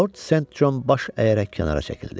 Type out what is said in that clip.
Lord St. John baş əyərək kənara çəkildi.